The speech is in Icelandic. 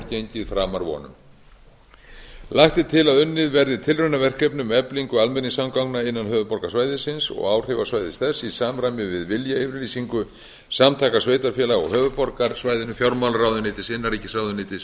gengið framar vonum lagt er til að unnið verði tilraunaverkefni um eflingu almenningssamgangna innan höfuðborgarsvæðisins og áhrifasvæðis þess í samræmi við viljayfirlýsingu samtaka sveitarfélaga á höfuðborgarsvæðinu fjármálaráðuneytis innanríkisráðuneytis